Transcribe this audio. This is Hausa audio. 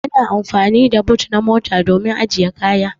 Ana amfani da boot na mota domin ajiye kaya.